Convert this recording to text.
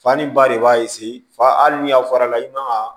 Fani ba de b'a fa hali ni a fɔra i man ka